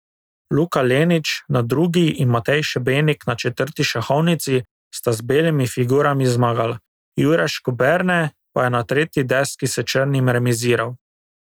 Luka Lenič na drugi in Matej Šebenik na četrti šahovnici sta z belimi figurami zmagala, Jure Škoberne pa je na tretji deski s črnimi remiziral.